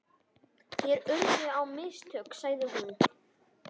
Mér urðu á mistök, sagði hún.